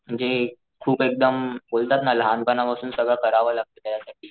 म्हणजे खूप एकदम बोलतात ना लहानपणा पासून सगळं करावं लागत त्या साठी.